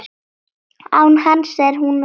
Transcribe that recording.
Án hans er hún örugg.